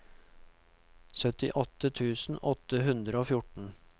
syttiåtte tusen åtte hundre og fjorten